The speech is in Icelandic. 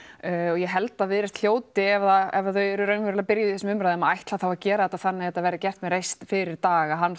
ég held að Viðreisn hljóti ef ef þau eru raunverulega byrjuð í þessum umræðum ætla þá að gera þetta þannig að þetta verði gert með reisn fyrir Dag að hann